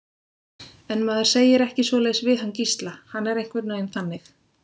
En maður segir ekki svoleiðis við hann Gísla, hann er einhvern veginn þannig.